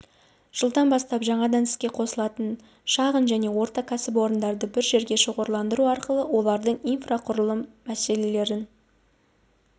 жылдан бастап жаңадан іске қосылатын шағын және орта кәсіпорындарды бір жерге шоғырландыру арқылы олардың инфрақұрылым мәселелерін